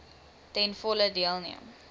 ten volle deelneem